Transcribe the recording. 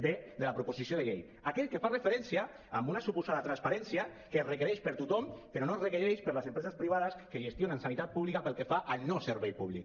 d de la proposició de llei aquell que fa referència a una suposada transparència que es requereix per a tothom però no es requereix per a les empreses privades que gestionen sanitat pública pel que fa al no servei públic